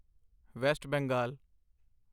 West Bengal